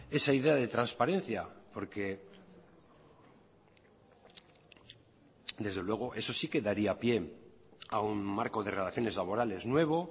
esa idea de transparencia porque desde luego eso sí que daría pie a un marco de relaciones laborales nuevo